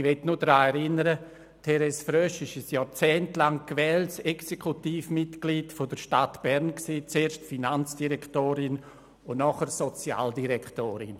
Ich möchte daran erinnern, dass Therese Frösch ein jahrzehntelang gewähltes Exekutivmitglied der Stadt Bern war, zuerst als Finanzdirektorin und anschliessend als Sozialdirektorin.